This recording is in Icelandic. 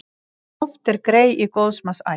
Oft er grey í góðs manns ætt.